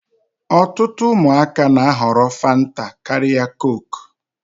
Ọtụtụ ụmụaka na-ahọrọ fanta karịa kook.